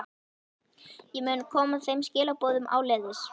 Ég mun koma þeim skilaboðum áleiðis.